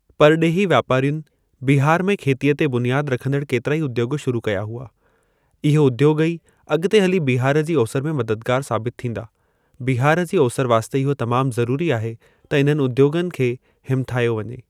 परडे॒ही वापारियुनि, बिहार में खेतीअ ते बुनियाद रखंदड़ केतिरा ई उद्योग॒ शुरु कया हुआ। इहे उद्योग॒ ई अगि॒ते हली बिहार जी ओसरि में मददगार साबित थींदा। बिहार जी ओसरि वास्ते इहो तमाम ज़रूरी आहे त इन्हनि उद्योग॒नि खे हिमथायो वञे।